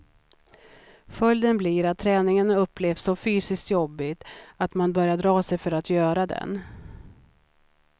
Följden blir att träningen upplevs så fysiskt jobbig att man börjar dra sig för att göra den.